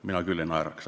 Mina küll ei naeraks.